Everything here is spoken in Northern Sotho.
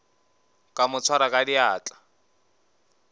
ka mo swara ka diatla